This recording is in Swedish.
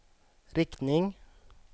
riktning